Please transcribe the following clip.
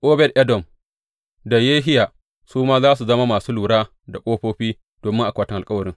Obed Edom da Yehiya su ma za su zama masu lura da ƙofofi domin akwatin alkawarin.